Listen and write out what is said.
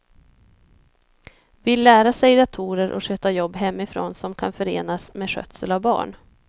Vill lära sig datorer och sköta jobb hemifrån som kan förenas med skötsel av barn.